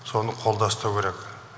соны қолда ұстау керек